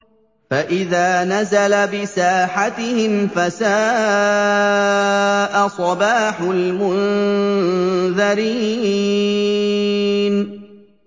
فَإِذَا نَزَلَ بِسَاحَتِهِمْ فَسَاءَ صَبَاحُ الْمُنذَرِينَ